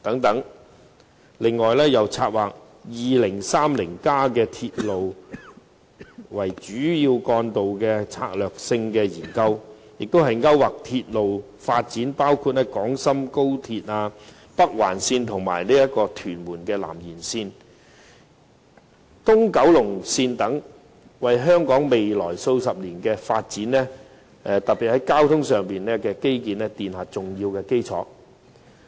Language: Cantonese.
此外，又策劃《香港 2030+》以鐵路為主要幹道的策略性研究，勾劃出鐵路發展，包括廣深港高連鐵路香港段、北環線、屯門南延線和東九龍線等項目，為香港未來數十年的發展，特別是交通基建奠下重要基礎。